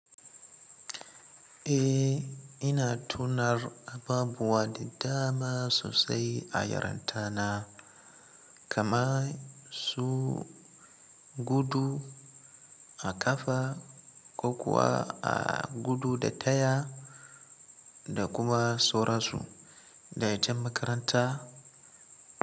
Eh, ina tunar abubuwa da dama sosai a yaranta na, kama su gudu a ƙafa ko kuwa a gudu da taya da kuma sauransu. Da itan makaranta.